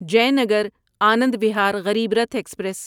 Jaynagar Anand Vihar Garib Rath express